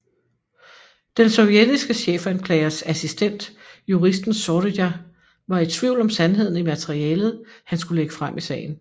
Den sovjetiske chefanklagers assistent juristen Zorija var i tvivl om sandheden i materialet han skulle lægge frem i sagen